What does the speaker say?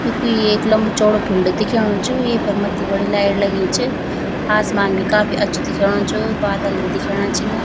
यु कुई एक लम्बू चौडो फील्ड दिख्येणु च येफर मत्थी बड़ी लाइट लगीं च आसमान भी काफी अच्छु दिख्योणु च बादल भी दिखेणा छिन।